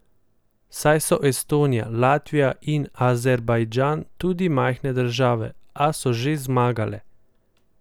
Saj so Estonija, Latvija in Azerbajdžan tudi majhne države, a so že zmagale!